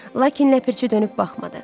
Lakin nəpərçi dönüb baxmadı.